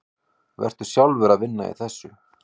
Varstu sjálfur að vinna í þessu?